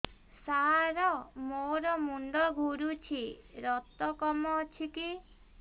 ସାର ମୋର ମୁଣ୍ଡ ଘୁରୁଛି ରକ୍ତ କମ ଅଛି କି